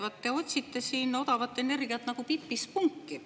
Vaat te otsite siin odavat energiat nagu Pipi spunki.